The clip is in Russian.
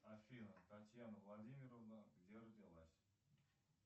афина татьяна владимировна где родилась